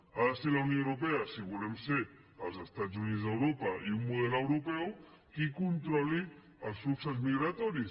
ha de ser la unió europea si volem ser els estats units d’europa i un model europeu qui controli els fluxos migratoris